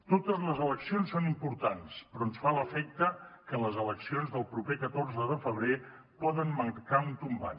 totes les eleccions són importants però ens fa l’efecte que les eleccions del proper catorze de febrer poden marcar un tombant